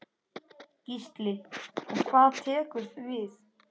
Gísli: Og hvað tekur við?